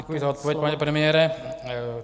Děkuji za odpověď, pane premiére.